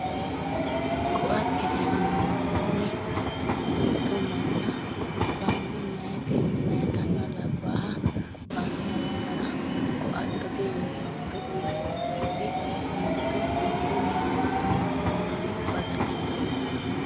Ko"attete yineemmo woyiite mitto mana bande mayiitanna labbaaha bandanni gara ko"attote yineemmo togo yineemmo woyiite mimmito mitto manna mittu mini manniwi badate